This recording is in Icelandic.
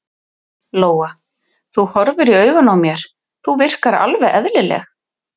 Lóa: Þú horfir í augun á mér, þú virkar alveg eðlileg?